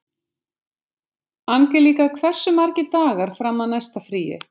Angelíka, hversu margir dagar fram að næsta fríi?